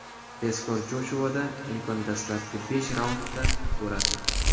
Tezkor Joshuada imkon dastlabki besh raundda bo‘ladi.